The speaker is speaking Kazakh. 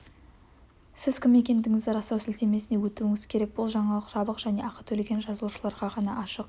сіз кім екендігіңізді растау сілтемесіне өтуіңіз керек бұл жаңалық жабық және ақы төлеген жазылушыларға ғана ашық